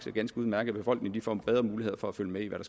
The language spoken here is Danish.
er ganske udmærket befolkningen får nu bedre muligheder for at følge med i hvad